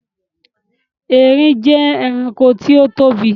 Àwọn erin jẹ́ ẹranko tí ó tóbi.